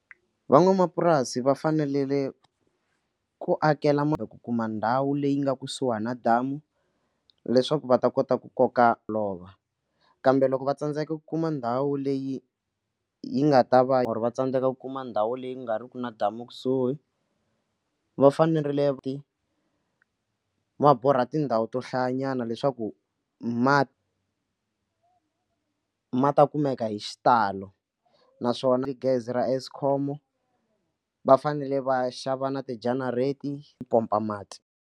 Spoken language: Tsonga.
Van'wamapurasi va fanelele ku akelele ku kuma ndhawu leyi nga kusuhi na damu leswaku va ta kota ku koka lova kambe loko va tsandzeka ku kuma ndhawu leyi yi nga ta va ri va tsandzeka ku kuma ndhawu leyi ku nga ri ki na damu ekusuhi va fanerile va borha tindhawu to hlayanyana leswaku mati ma ta kumeka hi xitalo naswona gezi ra eskom va fanele va xava na ti-generator yi pompa mati.